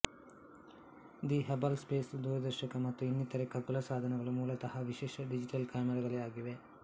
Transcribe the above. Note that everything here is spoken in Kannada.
ದಿ ಹಬಲ್ ಸ್ಪೇಸ್ ದೂರದರ್ಶಕ ಮತ್ತು ಇನ್ನಿತರೆ ಖಗೋಳ ಸಾಧನಗಳು ಮೂಲತಃ ವಿಶೇಷ ಡಿಜಿಟಲ್ ಕ್ಯಾಮರಾಗಳೇ ಆಗಿವೆ